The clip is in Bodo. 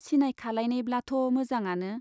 सिनायखालायनायब्लाथ' मोजाङानो।